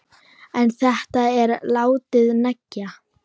En þetta er látið nægja.